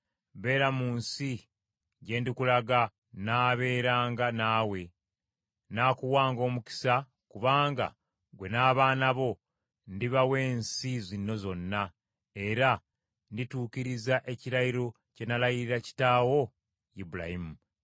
Beera mu nsi gye ndikulaga, nnaabeeranga naawe, n’akuwanga omukisa kubanga gwe n’abaana bo ndibawa ensi zino zonna, era ndituukiriza ekirayiro kye nalayirira kitaawo Ibulayimu.